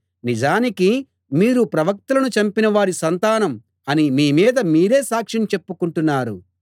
నిజానికి మీరు ప్రవక్తలను చంపినవారి సంతానం అని మీ మీద మీరే సాక్ష్యం చెప్పుకొంటున్నారు